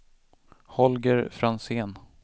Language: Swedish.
Holger Franzén